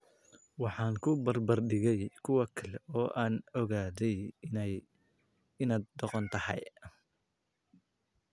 Waxaan ku barbar dhigay kuwa kale oo aan ogaaday inaad doqon tahay.